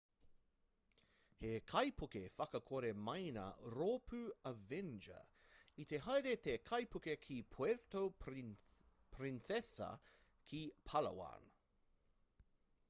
he kaipuke whakakore maina rōpū avenger i te haere te kaipuke ki puerto princesa ki palawan